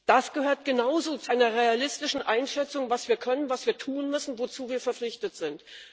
Das gehört genauso zu einer realistischen Einschätzung, was wir können, was wir tun müssen, wozu wir verpflichtet sind.